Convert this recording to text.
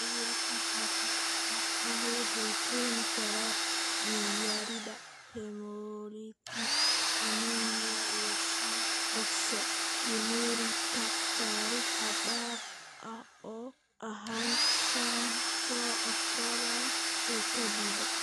Cudurka khafiifka ah wuxuu keeni karaa dhiig-yarida hemolytic anemia iyo shan oxoprolinurika (saarid xad dhaaf ah oo ah shan oxoproline ee kaadida).